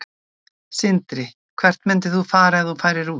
Sindri: Hvert myndir þú fara ef þú færir út?